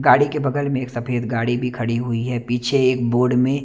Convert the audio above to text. गाड़ी के बगल में एक सफ़ेद गाड़ी भी खड़ी हुई है पीछे एक बोर्ड में--